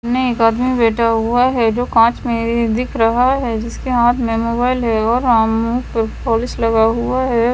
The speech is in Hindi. सामने एक आदमी बैठा हुआ है जो कांच में दिख रहा है जिसके हाथ में मोबाइल है और हम्म पॉलिश लगा हुआ है।